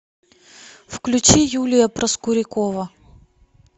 включи юлия проскурякова